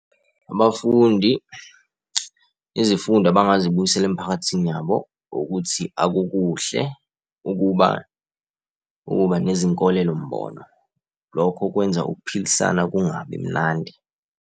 Abafundi izifundo abangazibuyisela emphakathini yabo ukuthi akukuhle ukuba ukuba nezinkolelo-mbono. Lokho kwenza ukuphilisana kungabi mnandi.